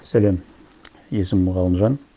сәлем есімім ғалымжан